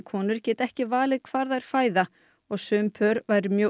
konur geti ekki valið hvar þær fæða og sum pör væru mjög